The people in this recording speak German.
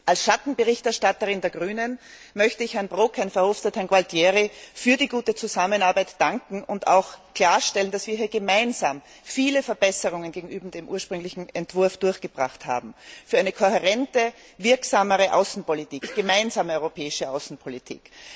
Als Schattenberichterstatterin der Grünen möchte ich Herrn Brok, Herrn Verhofstadt und Herrn Gualtieri für die gute Zusammenarbeit danken und auch klarstellen, dass wir hier gemeinsam viele Verbesserungen gegenüber dem ursprünglichen Entwurf durchgebracht haben für eine kohärente, wirksamere und gemeinsame europäische Außenpolitik.